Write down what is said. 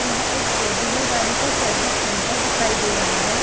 यह एक four wheeler गाड़ी का सर्विंस सेंटर दिखाई दे रहा है।